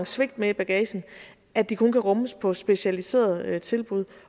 svigt med i bagagen at de kun kan rummes på specialiserede tilbud